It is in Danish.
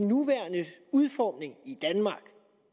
nuværende udformning